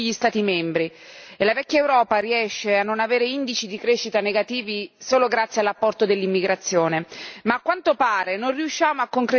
Ci sono dati allarmanti che riguardano tutti gli Stati membri, e la vecchia Europa riesce a non avere indici di crescita negativi solo grazie all'apporto dell'immigrazione.